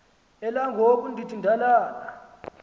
elangoku ndiba ngalala